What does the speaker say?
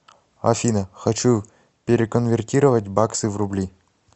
афина хочу переконвертировать баксы в рубли